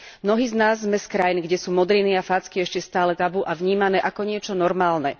Mnohí z nás sme z krajiny, kde sú modriny a facky ešte stále tabu a vnímané ako niečo normálne.